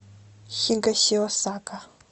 хигасиосака